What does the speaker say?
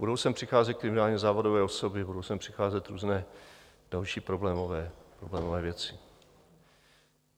Budou sem přicházet kriminálně závadové osoby, budou sem přicházet různé další problémové věci.